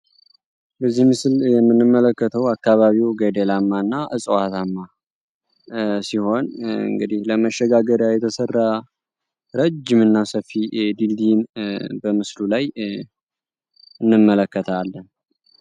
በዚህ ምስል የምንመለከተው አካባቢው ገደላማና እና እፅዋታማ ሲሆን እንግዲህ ለመሸጋሪያ የተሰራ ረጅም እና ሰፊ ድልድይን በምስሉ ላይ እንመለከታለን።